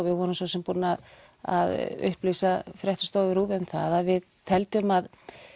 við vorum svo sem búin að að upplýsa fréttastofu RÚV um það að við teldum að